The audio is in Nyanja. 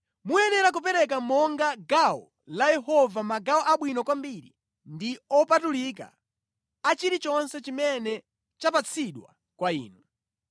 Muyenera kupereka monga gawo la Yehova magawo abwino kwambiri ndi opatulika a chilichonse chimene chapatsidwa kwa inu.’